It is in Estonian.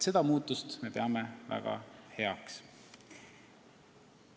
Me peame seda väga heaks muutuseks.